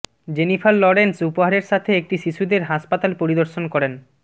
Jennifer Lawrence উপহারের সাথে একটি শিশুদের হাসপাতাল পরিদর্শন করেন